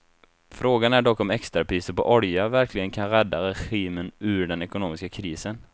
Frågan är dock om extrapriser på olja verkligen kan rädda regimen ur den ekonomiska krisen.